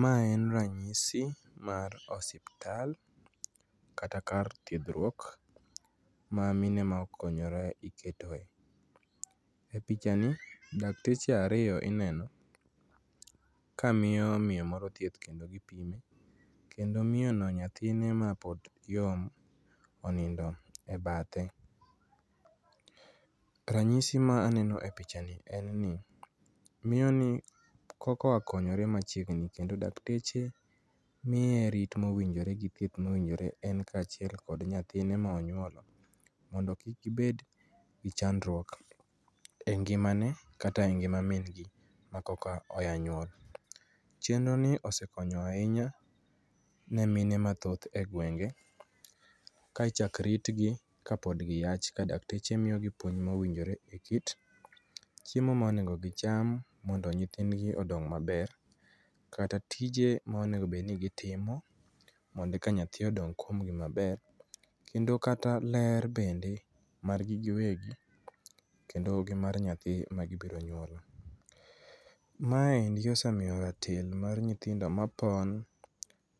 Mae en ranyisi mar osiptal, kata kar thiedhruok ma mine ma okonyore ikotoe. E pichani, dakteche ariyo ineno ka miyo miyo mio moro thieth kendo gipime, kendo miono nyathine ma pod yom onindo e bathe. Ranyisi ma aneno e pichani en ni, mioni koka oa konyore machiegni, kendo dakteche miye rit mowinjore gi thieth mowinjore en kaachiel kod nyathine monyuolo, mondo kik gibed gi chandruok e ngimane kata e ngima min gi ma koka oa oya nyuol. Chenroni osekonyo ahinya ne mine mathoth e gwenge, ka ichak ritgi kapod giyach ka dakteche miyogi puonj mowinjore e kit chiemo monego gicham mondo nyithindgi odong maber, kata tije ma onego obed ni gitimo monde ka nyathi odong kuom gi maber. Kendo kata ler bende mar gi giwegi kendo mar nyathi ma gibiro nyuolo. Maendi osemiyo ratil mar nyithindo ma pon,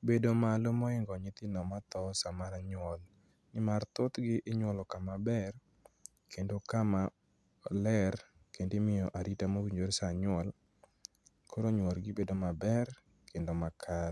bedo malo moingo nyithindo ma tho sa mar nyuol. Nimar thothgi inyuolo kama ber kendo kama ler, kendo imiyo arita ma owinjore sa nyuol koro nyuol gi bedo maber kendo makare.